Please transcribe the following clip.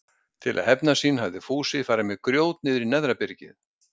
Til að hefna sín hafði Fúsi farið með grjót niður í neðra byrgið.